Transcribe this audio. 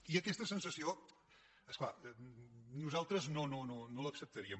i aquesta sensació és clar nosaltres no l’acceptaríem